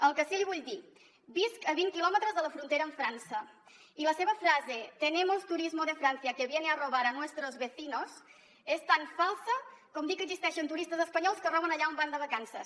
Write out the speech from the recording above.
el que sí que li vull dir visc a vint quilòmetres de la frontera amb frança i la seva frase tenemos turismo de francia que viene a robar a nuestros vecinos és tan falsa com dir que existeixen turistes espanyols que roben allà on van de vacances